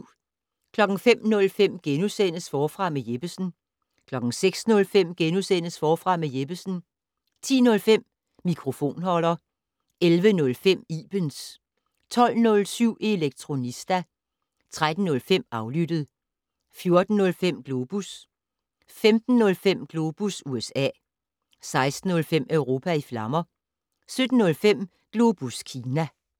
05:05: Forfra med Jeppesen * 06:05: Forfra med Jeppesen * 10:05: Mikrofonholder 11:05: Ibens 12:07: Elektronista 13:05: Aflyttet 14:05: Globus 15:05: Globus USA 16:05: Europa i flammer 17:05: Globus Kina